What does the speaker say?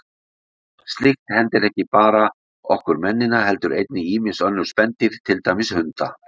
Slíkt hendir ekki bara okkur mennina heldur einnig önnur spendýr, til dæmis hunda.